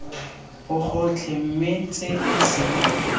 bogotlhe mme tse e seng